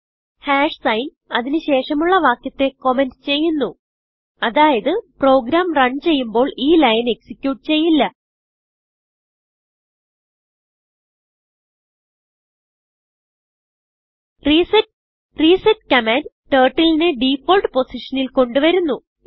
enter sign അതിന് ശേഷമുള്ള വാക്യത്തെ കമന്റ് ചെയ്യുന്നു അതായത് പ്രോഗ്രാം റണ് ചെയ്യുമ്പോൾ ഈ ലൈൻ എക്സിക്യൂട്ട് ചെയ്യില്ല റിസെറ്റ് റിസെറ്റ് കമാൻഡ് Turtleനെ ഡിഫോൾട്ട് പൊസിഷനിൽ കൊണ്ട് വരുന്നു